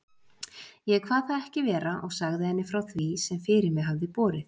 Ég kvað það ekki vera og sagði henni frá því, sem fyrir mig hafði borið.